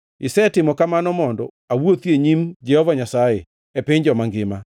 isetimo kamano mondo awuothi e nyim Jehova Nyasaye, e piny joma ngima.